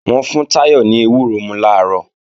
Wọ́n fún Táyọ̀ ní ewúro mú làárọ̀